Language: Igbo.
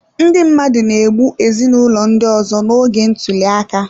Ndị mmadụ na-egbu ezinụlọ ndị ọzọ n'oge ntuli aka